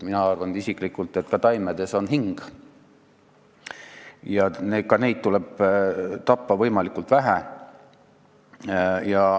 Mina arvan isiklikult, et ka taimedel on hing ja ka neid tuleb tappa võimalikult vähe.